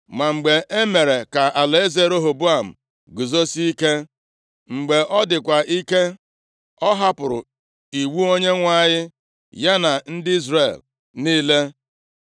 Ma mgbe e mere ka alaeze Rehoboam guzosie ike, mgbe ọ dịkwa ike, ọ hapụrụ iwu Onyenwe anyị ya na ndị Izrel + 12:1 Izrel nʼebe a na-ekwu maka ndị Juda, otu a ka ọ dịkwa nʼakwụkwọ \+xt 2Ih\+xt*. niile.